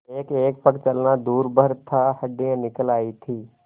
एकएक पग चलना दूभर था हड्डियाँ निकल आयी थीं